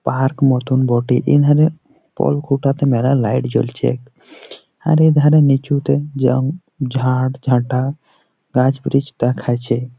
Park মতন বটে। এধারে কল কুটাতে মেলা লাইট জ্বলছে আরে ধারে নীচুতে জং ঝাড় ঝাটা গাছ ব্রিজ দেখাইছে ।